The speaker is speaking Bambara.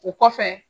O kɔfɛ